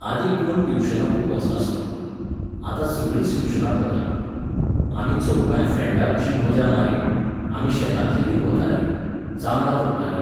आदीं कोण ट्युशनाकूय वचनासलो. आतां सगळींच ट्यूशनाक वतात. आमी चौगांय फ्रँडां अशीं मजा मारी, आमी शेतांत लेगीत वतालीं, जांबळां तोडटालीं.